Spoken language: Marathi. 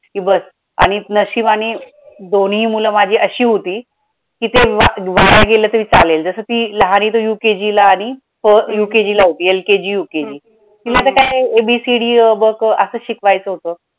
कि बस आणि नशिबानी दोन्ही मुलं माझी अशी होती, कि ते वाया गेलं तरी चालेल जसं ती लहानी तर UKG ला आणि UKG ला होती LKG UKG तिला मग आता काय ABCD अ ब क असचं शिकवायचं होतं.